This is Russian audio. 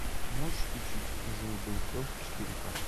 можешь включить жил был пес четыре ка